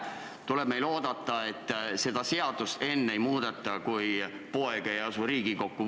Seega tuleb meil oodata, seda seadust ehk enne ei muudeta, kui poeg ei asu Riigikokku.